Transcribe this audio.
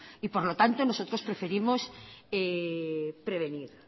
y por lo tanto nosotros preferimos prevenir